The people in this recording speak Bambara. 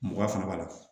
Mugan fana b'a la